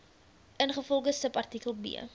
ingevolge subartikel b